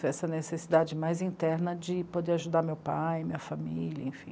Foi essa necessidade mais interna de poder ajudar meu pai, minha família, enfim.